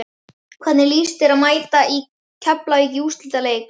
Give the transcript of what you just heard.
Hvernig lýst þér á að mæta Keflavík í úrslitaleik?